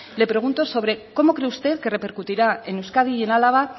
le pregunto sobre cómo cree usted que repercutirá en euskadi y el álava